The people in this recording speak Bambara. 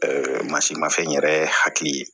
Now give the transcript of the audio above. masi mafɛn yɛrɛ hakili ye